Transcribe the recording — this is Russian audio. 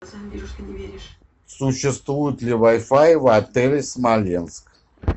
существует ли вай фай в отеле смоленск